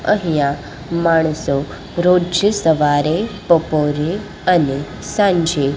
અહીંયા માણસો રોજ સવારે બપોરે અને સાંજે--